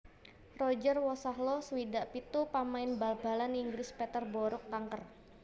Roger Wosahlo swidak pitu pamain bal balan Inggris Peterborough kanker